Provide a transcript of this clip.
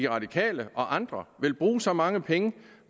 radikale og andre vil bruge så mange penge